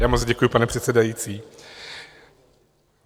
Já moc děkuji, pane předsedající.